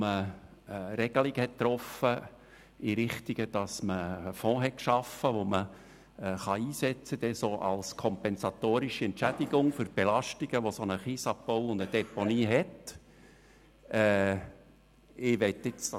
Man traf Regelungen in dem Sinne, dass Fonds geschaffen wurden, um sie als kompensatorische Entschädigung für die Belastungen einzusetzen, die ein Kiesabbau und eine Deponie mit sich bringen.